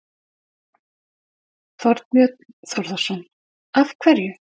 Þorbjörn Þórðarson: Af hverju?